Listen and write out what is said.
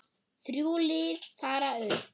Þrjú lið fara upp.